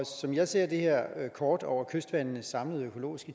som jeg ser det her kort over kystvandenes samlede økologiske